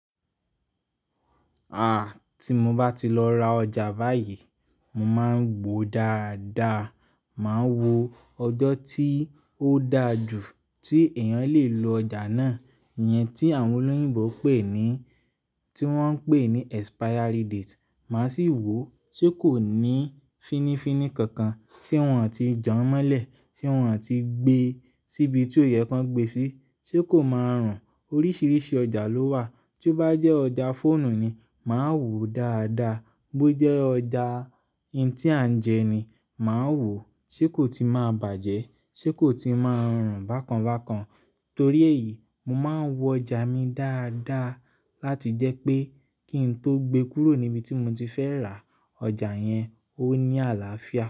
Tí mo bá ti lọ ra ọjà báyìí, mo máa ń gbòó dáadáa. Máa wo ọjọ́ tí ó da jù tí èèyàn lè lo ọjà náà, ìyẹn tí àwọn olóyìnbo ti wọ́n ń pè ní expiry date. Màá sì wòó ṣe kò ní fínifi ni kankan, ṣe wọ́n ò tí jọmọ́lẹ̀, ṣe wọ́n ò tí gbé síbi tí ó yẹ kí wọ́n gbé síi, ṣe kó máa rùn? Oríṣiríṣi ọjà ló wà, tí ó bá jẹ́ ọjà fóònù ni, màá wòó dáadáa, bó jẹ́ ọjà n tí à ń jẹ ni, màá wòó ṣe kò tí máa bàjẹ́, ṣe kò tí máa rùn bákan bákan. Torí èyìí, mo máa ń wo ọjà mi dáadáa láti jẹ́ pé kí n tó gbe kúrò níbi tí mo ti fẹ́ rà, ọjà yẹn ó ní àlàáfíà.